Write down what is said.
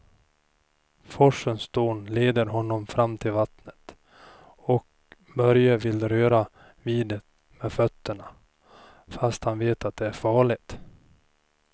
Forsens dån leder honom fram till vattnet och Börje vill röra vid det med fötterna, fast han vet att det är farligt.